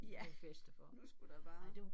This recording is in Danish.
Ja nu skulle der bare